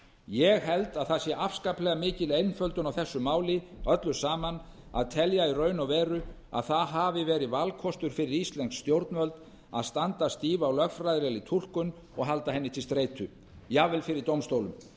ég held að það sé afskaplega mikil einföldun á þessu máli öllu saman að telja í raun og veru að það hafi verið valkostur fyrir íslensk stjórnvöld að standa stíf á lögfræðilegri túlkun og halda henni til streitu jafnvel fyrir dómstólum